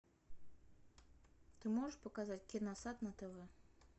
ты можешь показать киносад на тв